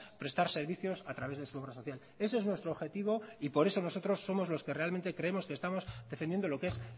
prestar servicios a través de su obra social ese es nuestro objetivo y por eso nosotros somos los que realmente creemos que estamos defendiendo lo que es